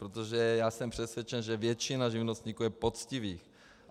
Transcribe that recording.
Protože já jsem přesvědčen, že většina živnostníků je poctivých.